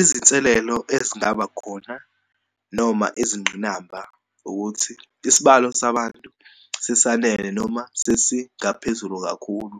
Izinselelo ezingaba khona noma izingqinamba, ukuthi isibalo sabantu sisanele, noma sesingaphezulu kakhulu